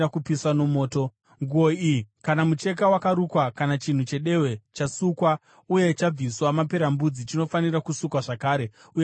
Nguo iyi, kana mucheka wakarukwa, kana chinhu chedehwe chasukwa uye chabviswa maperembudzi, chinofanira kusukwa zvakare uye chichava chakachena.”